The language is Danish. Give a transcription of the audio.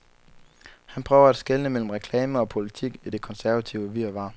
Han prøver at skelne mellem reklame og politik i det konservative virvar.